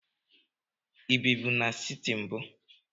Ị ebibu n'siti mbu?